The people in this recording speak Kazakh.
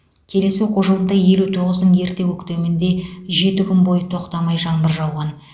келесі оқу жылында елу тоғыздың ерте көктемінде жеті күн бойы тоқтамай жаңбыр жауған